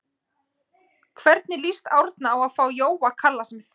Hvernig lýst Árna á að fá Jóa Kalla sem þjálfara?